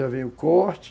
Já vem o corte,